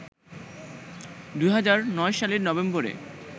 ২০০৯ সালের নভেম্বরে